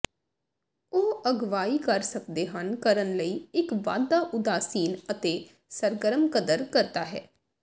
ਉਹ ਅਗਵਾਈ ਕਰ ਸਕਦੇ ਹਨ ਕਰਨ ਲਈ ਇੱਕ ਵਾਧਾ ਉਦਾਸੀਨ ਅਤੇ ਸਰਗਰਮ ਕਦਰ ਕਰਦਾ ਹੈ